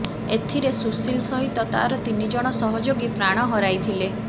ଏଥିରେ ସୁଶୀଲ ସହିତ ତାର ତିନିଜଣ ସହଯୋଗୀ ପ୍ରାଣ ହରାଇଥିଲେ